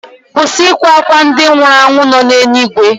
Kwụsị ịkwa akwa ndị nwụrụ anwụ nọ n'eluigwe.